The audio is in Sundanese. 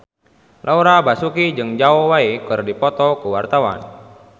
Laura Basuki jeung Zhao Wei keur dipoto ku wartawan